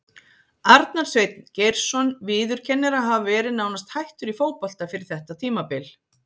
Arnar Sveinn Geirsson viðurkennir að hafa verið nánast hættur í fótbolta fyrir þetta tímabil.